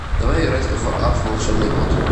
давай играть в апп волшебный бот